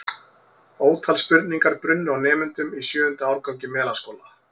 Ótal spurningar brunnu á nemendum í sjöunda árgangi Melaskóla.